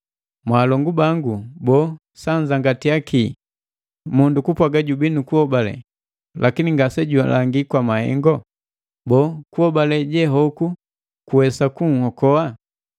Mwaalongu bangu, boo, sanzangatiya ki mundu kupwaaga jubii nukuhobale, lakini ngasejulangi kwa mahengo? Boo, kuhobale je hoku kuwesa kunhokoa?